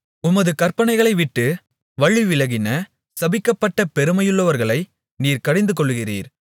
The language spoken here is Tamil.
உமது கற்பனைகளை விட்டு வழிவிலகின சபிக்கப்பட்ட பெருமையுள்ளவர்களை நீர் கடிந்துகொள்ளுகிறீர்